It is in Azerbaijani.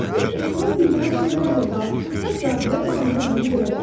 Siz etiraz bildirən sözlərlə danışdıqda cazibə qanunu bunu belə qəbul edir: